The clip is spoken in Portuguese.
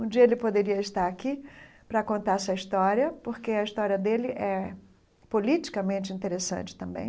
Um dia ele poderia estar aqui para contar essa história, porque a história dele é politicamente interessante também.